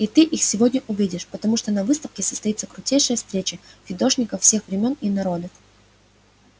и ты их сегодня увидишь потому что на выставке состоится крутейшая встреча фидошников всех времён и народов